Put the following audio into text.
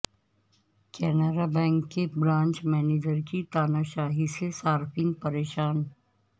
Canara bank کے branch مینیجرکی تاناشاہی سے صارفین پریشان